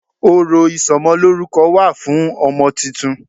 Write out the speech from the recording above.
Ọ̀rọ̀ ìsọmọlórúko wà fún ọmọ titun